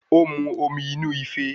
Ó mu omi inú ife